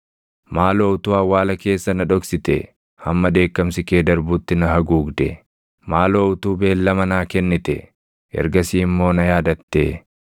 “Maaloo utuu awwaala keessa na dhoksitee hamma dheekkamsi kee darbutti na haguugdee! Maaloo utuu beellama naa kennitee ergasii immoo na yaadattee!